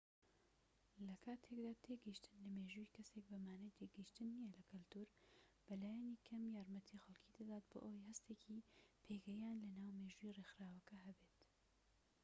لە کاتێکدا تێگەیشتن لە مێژووی کەسێک بە مانای تێگەیشتن نیە لە کەلتوور بە لایەنی کەم یارمەتی خەڵکی دەدات بۆ ئەوەی هەستێکی پێگەیان لە ناو مێژووی ڕێکخراوەکە هەبێت